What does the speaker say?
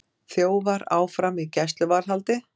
Þjófar áfram í gæsluvarðhaldi